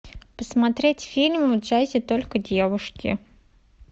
посмотреть фильм в джазе только девушки